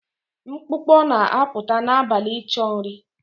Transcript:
Mkpụkpọ na-apụta n'abalị ịchọ nri